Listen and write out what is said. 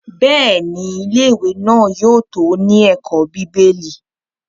Bẹ́ẹ̀ni, Ilé-ìwé náà yóò tó ní ẹ̀kọ́ bíbélì.